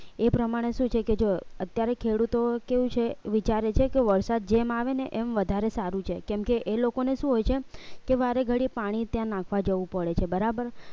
એ પ્રમાણે શું છે કે જો અત્યારે ખેડૂતો કેવું છે વિચારે છે કે વરસાદ જેમ આવે ને એમ વધારે સારું છે કેમકે એ લોકોને શું હોય છે કે વારે ઘડી પાણી ત્યાં નાખવા જવું પડે છે બરાબર